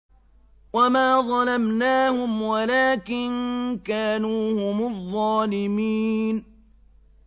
وَمَا ظَلَمْنَاهُمْ وَلَٰكِن كَانُوا هُمُ الظَّالِمِينَ